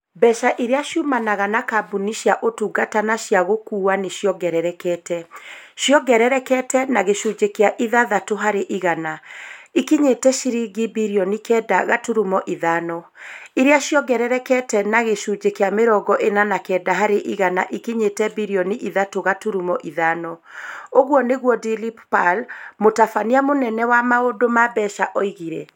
Mbeca iria ciumanaga na kambuni cia ũtungata na cia gũkuua nĩ ciongererekete. Ciongererekete na gĩcunjĩ kĩa ithathatũ harĩ igana. Ikinyĩte ciringi birioni kenda gaturumo ithano. Iria ciongererekete na gĩcunjĩ kĩa mĩrongo ĩna na kenda harĩ igana ikinyĩte birioni ithatu gaturumo ithano. ũguo nĩguo Dilip Pal, mũtabania mũnene wa maũndũ ma mbeca oigire.